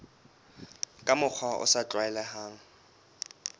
ka mokgwa o sa tlwaelehang